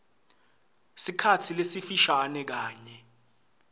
sikhatsi lesifishane kanye